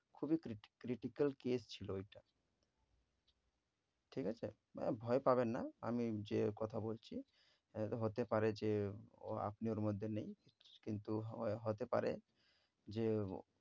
খুবই criti~ critical case ছিল ঐটা, ঠিক আছে? মানে ভয় পাবেন না আমি যে কথা বলছি। এর হতে পারে যে ও আপনি ওর মধ্যে নেই। কিন্তু হ~ হতে পারে যে ও